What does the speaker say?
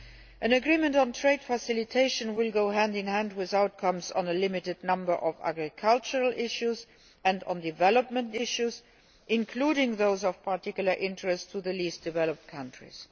An agreement on trade facilitation will go hand in hand with outcomes on a limited number of agricultural issues and on development issues, including those of particular interest to the least developed countries.